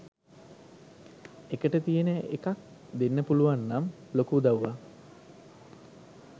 එකට තියන එකක් දෙන්න පුලුවන්නම් ලොකු උදව්වක්.